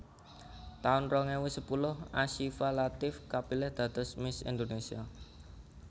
taun rong ewu sepuluh Asyifa Latief kapilih dados Miss Indonesia